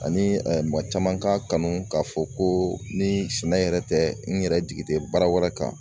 Ani maa caman k'a kanu k'a fɔ ko ni sɛnɛ yɛrɛ tɛ, n yɛrɛ jigi tɛ baara wɛrɛ kan.